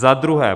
Za druhé.